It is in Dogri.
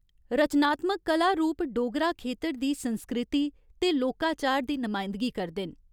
रचनात्मक कला रूप डोगरा खेतर दी संस्कृति ते लोकाचार दी नमायंदगी करदे न।